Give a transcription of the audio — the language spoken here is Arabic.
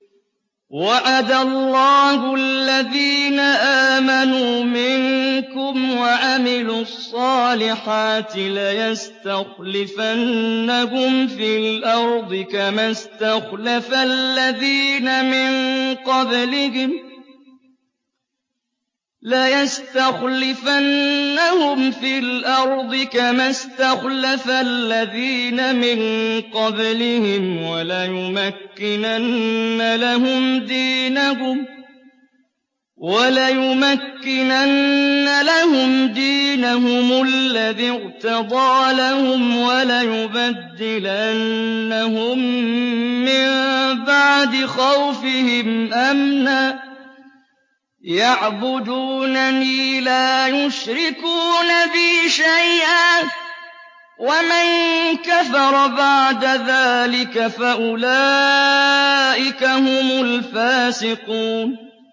وَعَدَ اللَّهُ الَّذِينَ آمَنُوا مِنكُمْ وَعَمِلُوا الصَّالِحَاتِ لَيَسْتَخْلِفَنَّهُمْ فِي الْأَرْضِ كَمَا اسْتَخْلَفَ الَّذِينَ مِن قَبْلِهِمْ وَلَيُمَكِّنَنَّ لَهُمْ دِينَهُمُ الَّذِي ارْتَضَىٰ لَهُمْ وَلَيُبَدِّلَنَّهُم مِّن بَعْدِ خَوْفِهِمْ أَمْنًا ۚ يَعْبُدُونَنِي لَا يُشْرِكُونَ بِي شَيْئًا ۚ وَمَن كَفَرَ بَعْدَ ذَٰلِكَ فَأُولَٰئِكَ هُمُ الْفَاسِقُونَ